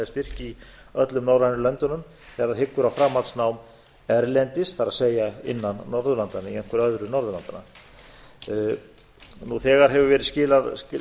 í öllum norrænu löndunum ef það hyggur á framhaldsnám erlendis það er enn norðurlandanna í einhverju öðru norðurlandanna nú þegar hefur verið skilað